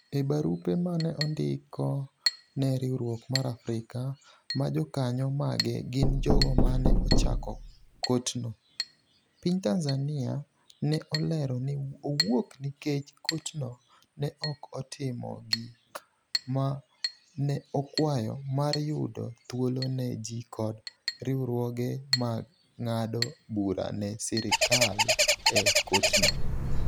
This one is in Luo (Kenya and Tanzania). E barupe mane ondiko ne riwruok mar Afrika, ma jokanyo mage gin jogo mane ochako kotno, piny Tanzania ne olero ni owuok nikech kotno ne ok otimo gik ma ne okwayo mar yudo thuolo ne ji kod riwruoge mag ng'ado bura ne sirikal e kotno.